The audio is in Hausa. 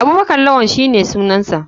Abubakar lawann shine sunansa.